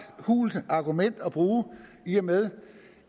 hult argument at bruge i og med